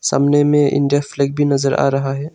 सामने में India flag भी नजर आ रहा है।